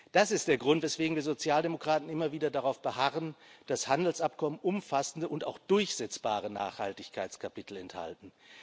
Das ist der Grund, weswegen wir Sozialdemokraten immer wieder darauf beharren, dass Handelsabkommen umfassende und auch durchsetzbare Nachhaltigkeitskapitel enthalten.